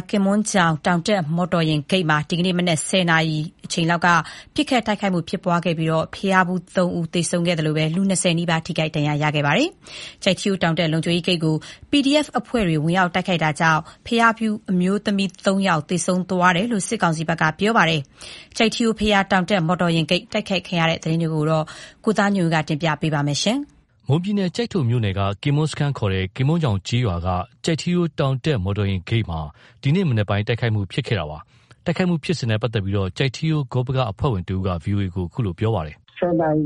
း ကင်မွန်းချောင် တောင်တက်မော်တော်ယာဉ်ဂိတ်မှာ ဒီကနေ့မနက် ၁၀ နာရီအချိန်လောက်က ပစ်ခတ်တိုက်ခိုက်မှု ဖြစ်ပွားပြီး ဘုရားဖူး ၃ ဦး သေဆုံးခဲ့သလို လူ ၂၀ နီးပါး ထိခိုက်ဒဏ်ရာရခဲ့ပါတယ်။ ကျိုက်ထီးရိုးတောင်တက် လုံခြုံရေးဂိတ်ကို PDF အဖွဲ့တွေ ဝင်ရောက်တိုက်ခိုက်ခဲ့တာကြောင့် ဘုရားဖူးအမျိုးသမီး ၃ ယောက်သေဆုံးသွားတယ်လို့ စစ်ကောင်စီဘက်က ပြောပါတယ်။ ကျိုက်ထီးရိုးဘုရား တောင်တက် မော်တော်ယာဉ်ဂိတ် တိုက်ခိုက်ခံရတဲ့သတင်းကို ကိုသားညွန့်ဦးက တင်ပြပေးထားပါတယ်။ မွန်ပြည်နယ် ကျိုက်ထိုမြို့နယ်က ကင်မွန်းစခန်းခေါ် ကင်မွန်းချောင်းကျေးရွာက ကျိုက်ထီးရိုး တောင်တက်မော်တော်ယာဉ်ဂိတ်မှာ ဒီနေ့မနက်ပိုင်း တိုက်ခိုက်မှု ဖြစ်ခဲ့ပါတယ်။ တိုက်ခိုက်မှုနဲ့ပတ်သက်လို့ ကျိုက်ထီးရိုး ဂေါပကအဖွဲ့ဝင်တဦးက VOA ကို ပြောပါတယ်။ “ ၁၀ နာရီ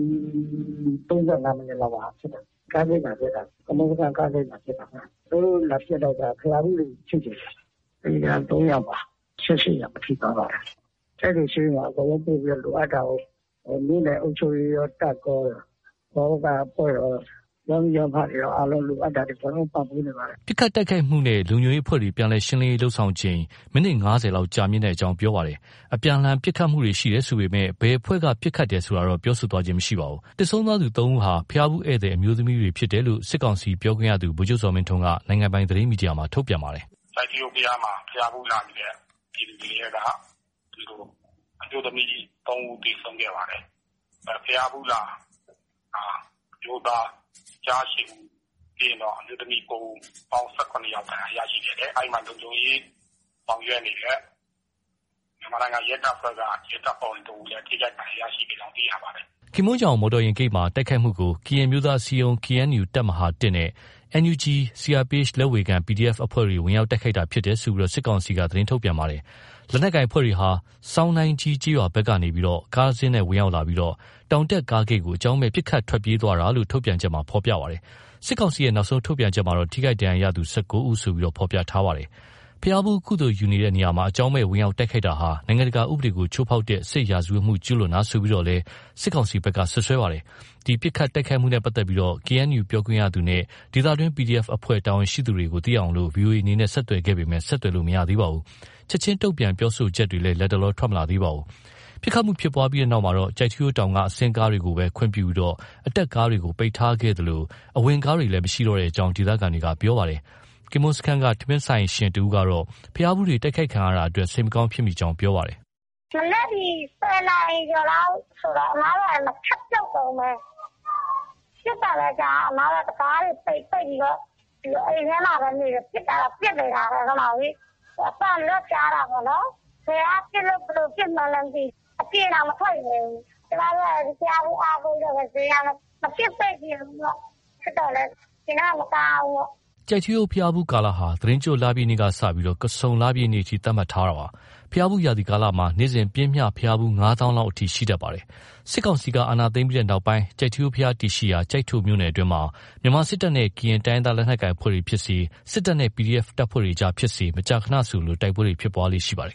၃၅ မိနစ်လောက်မှာ ဖြစ်တာ။ ကင်မွန်းစခန်းကားဂိတ်မှာ ဖြစ်တာ။ သူတို့ လာပစ်တော့ကျ ဘုရားဖူးတွေ ထိတယ်ဗျ။ သေတာ ၃ ယောက်ပါ။ ၁၈ ယောက် ထိသွားပါတယ်။ ကျိုက်ထိုဆေးရုံကို အကုန်လုံး ပို့ပြီးတော့ လိုအပ်တာကို မြို့နယ်အုပ်ချုပ်ရေးကော၊ တပ်ကော။ ဂေါပက အဖွဲ့ကော၊ ရပ်မိရပ်ဖတွေကော လိုအပ်တာတွေ အကုန်လုံးပံ့ပိုးနေပါတယ်။” ပစ်ခတ်တိုက်ခိုက်မှုနဲ့ လုံခြုံရေးအဖွဲ့တွေ ပြန်လည်ရှင်းလင်းရေး လုပ်ဆောင်ချိန် မိနစ် ၅၀ လောက်ကြာမြင့်ကြောင်း ပြောပါတယ်။ အပြန်အလှန် ပစ်ခတ်ခဲ့တယ်ဆိုပေမယ့် ဘယ်အဖွဲ့က ပစ်ခတ်တယ်ဆိုတာတော့ ပြောဆိုသွားခြင်း မရှိပါဘူး။ သေဆုံးသွားသူ ၃ ယောက်ဟာ ဘုရားဖူးဧည့်သည် အမျိုးသမီးတွေဖြစ်တယ်လို့ စစ်ကောင်စီ ပြောခွင့်ရ ဗိုလ် ချုပ်ဇော်မင်းထွန်းက နိုင်ငံပိုင်သတင်းမီဒီယာမှာ ထုတ်ပြန်ပါတယ်။ “ကျိုက်ထီးရိုးဘုရားမှာ ဘုရားဖူးလာနေတဲ့ပြည်သူတွေထဲက အမျိုးသမီးသုံးဦးသေဆုံးခဲ့ပါတယ်။ ဘုရားဖူးလာ အမျိုးသား ကျား ၈ ဦး၊ ပြီးရင်တော့ အမျိုးသမီး ၉ ဦး၊ ပေါင်း ၁၇ ဦး ဒဏ်ရာရှိခဲ့တယ်။ အဲဒီမှာ လုံခြုံရေးဆောင်ရွက်နေတဲ့ မြန်မာနိုင်ငံရဲတပ်ဖွဲ့ဝင်တဦးလည်း ထိခိုက်ဒဏ်ရာရရှိကြောင်း သိရပါတယ်။” ကင်မွန်းချောင်မော်တော်ယာဉ်ဂိတ်မှာ တိုက်ခိုက်မှုကို ကရင်အမျိုးသားအစည်းအရုံး KNU တပ်မဟာ ၁ နဲ့ NUG ၊ CRPH လက်ဝေခံ PDF အဖွဲ့တွေ ဝင်ရောက်တိုက်ခိုက်ခဲ့တာလို့ စစ်ကောင်စီက သတင်းထုတ်ပြန် ထားပါတယ်။ လက်နက်ကိုင်အဖွဲ့တွေဟာ ဆောင်နိုင်ကြီးကျေးရွာဘက်ကနေ ကားတစီးနဲ့ဝင်ရောက်လာပြီး တောင်တက်ကားဂိတ်ကို အကြောင်းမဲ့ ပစ်ခတ်ထွက်ပြေးသွားတယ်လို့ ထုတ်ပြန်ချက်မှာ ပြောထားပါတယ်။ စစ်ကောင်စီရဲ့ နောက်ဆုံးထုတ်ပြန်ချက်မှာ ထိခိုက်ဒဏ်ရာရသူ ၁၉ ဦးလို့ ဖော်ပြထားပါတယ်။ ဘုရားဖူး ကုသိုလ်ယူတဲ့နေရာမှာ အကြောင်းမဲ့ ဝင်ရောက်တိုက်ခိုက်တာဟာ နိုင်ငံတကာဥပဒေကို ချိုးဖေါက် တဲ့ စစ်ရာဇဝတ်မှု ကျုးလွန်တာဆိုပြီးတော့လည်း စစ်ကောင်စီဘက်က စွပ်စွဲထားပါတယ်။ ဒီပစ်ခတ်တိုက်ခိုက်မှုနဲ့ ပတ်သက်ပြီး KNU ပြောခွင့်ရသူ နဲ့ ဒေသတွင်း PDF အဖွဲ့ တာဝန်ရှိသူတွေကို သိရအောင် VOA အနေနဲ့ ဆက်သွယ်ခဲ့ပေမယ့် ဆက်သွယ်လို့ မရသေးပါဘူး။ ချက်ခြင်း တုံ့ပြန် ပြောဆိုချက်တွေလည်း လတ်တလော ထွက်မလာသေးပါဘူး။ ပစ်ခတ်မှုဖြစ်ပွားပြီးနောက်မှာ ကျိုက်ထီးရိုးတောင်က အဆင်းကားတွေကိုသာ ခွင့်ပြုပြီး အတက်ကားတွေကို ပိတ်ထားခဲ့သလို အဝင်ကားတွေလည်း မရှိတော့ကြောင်း ဒေသခံတွေက ပြောပါတယ်။ ကင်မွန်းစခန်းက ထမင်းဆိုင်ရှင်တဦးကတော့ ဘုရားဖူးတွေ တိုက်ခိုက်ခံရတဲ့အတွက် စိတ်မကောင်း ဖြစ်မိကြောင်း ပြောပါတယ်။ “ မနက်ဒီ ၁၀နာရီကျော်လောက်ဆိုတော့ အမတို့ကလည်း ချက်ပြုတ်တုန်းပဲ။ ပစ်သံလည်းကြားရော အမတို့က တံခါးတွေပိတ်ပြီးတော့ အိမ်ထဲမှာပဲနေတယ်။ ပစ်တာတော့ ပစ်နေတာပဲ ငါ့မောင်ရေ။ အသံတွေတော့ ကြားတာပေါ့နော်။ ဘယ်ကပစ်လို့ ဘယ်လို ပစ်မှန်းလည်းမသိဘူး။ အပြင်တောင် မထွက်ရဲဘူး။ ကျမတို့က လည်း ဒီဘုရားဖူးအားကိုးပြီး ဈေးရောင်းတော့ မဖြစ်စေချင်ဘူးပေါ့။ ဖြစ်တော့လည်း ရင်ထဲမှာ မကောင်းဘူးပေါ့။” ကျိုက်ထီးရိုးဘုရားဖူးကာလဟာ သီတင်းကျွတ်လပြည့်နေ့ကစတင်ပြီး ကဆုန်လပြည့်အထိ သတ်မှတ်ထားတာပါ။ ဘုရားဖူးရာသီကာလမှာ နေ့စဉ် ပျှမ်းမျှ ဘုရားဖူး ၅ သောင်းလောက် အထိ ရှိတတ်ပါတယ်။ စစ်ကောင်စီက အာဏာသိမ်းပြီးနောက်ပိုင်း ကျိုက်ထီးဘုရားတည်ရှိရာ ကျိုက်ထိုမြို့နယ်အတွင်းမှာ မြန်မာစစ်တပ်နဲ့ ကရင်တိုင်းရင်းသား လက်နက်ကိုင်အဖွဲ့တွေဖြစ်စေ၊ စစ်တပ်နဲ့ PDF တပ်ဖွဲ့ကြားဖြစ်စေ မကြာခဏ တိုက်ပွဲတွေ ဖြစ်ပွားလေ့ရှိပါတယ်